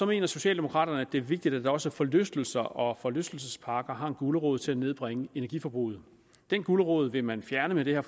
mener socialdemokraterne at det er vigtigt at også forlystelser og forlystelsesparker har en gulerod til at nedbringe energiforbruget den gulerod vil man fjerne med det her